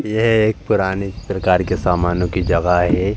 यह एक पुराने प्रकार के सामानों की जगह है।